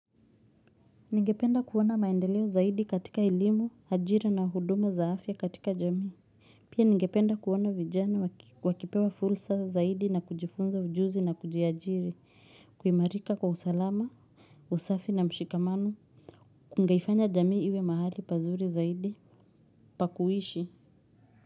Ningependa kuona maendeleo zaidi katika elimu, ajira na huduma za afya katika jamii. Pia ningependa kuona vijana wakipewa fursa zaidi na kujifunza ujuzi na kujiajiri, kuimarika kwa usalama, usafi na mshikamano, kungeifanya jamii iwe mahali pazuri zaidi pa kuishi.